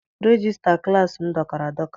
Regista klassi m dọkara adọka.